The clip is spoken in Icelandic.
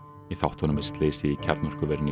í þáttunum er slysið í kjarnorkuverinu í